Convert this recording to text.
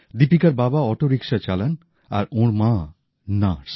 দীপিকার বাবা auto rickshaw চালান আর ওঁর মা নার্স